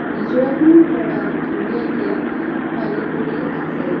নিজৰাটোৰ পৰা ধুনিয়াকে পানী পৰি আছে।